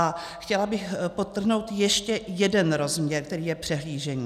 A chtěla bych podtrhnout ještě jeden rozměr, který je přehlížený.